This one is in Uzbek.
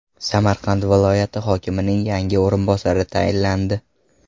Samarqand viloyat hokimining yangi o‘rinbosari tayinlandi.